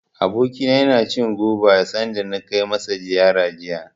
Abokina yana cin goba, sanda na kai masa ziyara jiya.